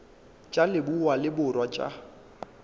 tša leboa le borwa tša